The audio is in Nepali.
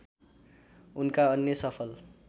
उनका अन्य सफल